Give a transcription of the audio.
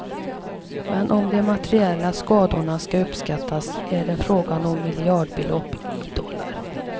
Men om de materiella skadorna ska uppskattas är det fråga om miljardbelopp, i dollar.